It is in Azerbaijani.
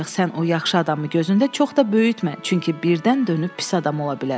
Ancaq sən o yaxşı adamı gözündə çox da böyütmə, çünki birdən dönüb pis adam ola bilər.